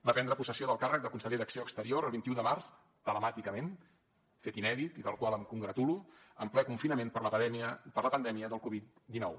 va prendre possessió del càrrec de conseller d’acció exterior el vint un de març telemàticament fet inèdit i del qual em congratulo en ple confinament per la pandèmia del covid dinou